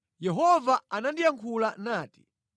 Yehova anandiyankhula nati: